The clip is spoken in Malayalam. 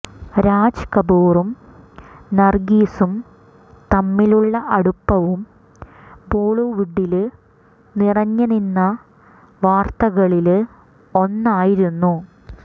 രാജ് കപൂറും നര്ഗീസും തമ്മിലുള്ള അടുപ്പവും ബോളിവുഡില് നിറഞ്ഞ് നിന്ന വാര്ത്തകളില് ഒന്നായിരുന്നു